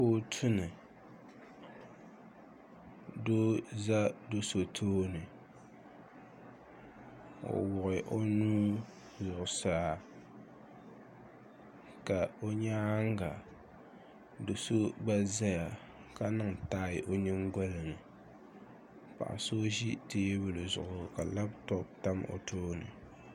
Kootu ni doo za do'so tooni o wuɣi o nuu zuɣusaa ka o nyaanga do'so gba zaya ka niŋ taayi o nyingolini so ʒi teebuli zuɣu ka laaputopu tam o tooni.